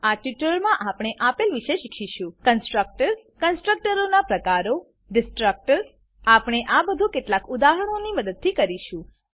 આ ટ્યુટોરીયલમાં આપણે આપેલ વિશે શીખીશું કન્સ્ટ્રક્ટર્સ કન્સ્ટ્રકટર્સ કન્સ્ટ્રકટરોનાં પ્રકારો ડિસ્ટ્રક્ટર્સ ડીસ્ટ્રકટર્સ આપણે આ બધું કેટલાક ઉદાહરણોની મદદથી કરીશું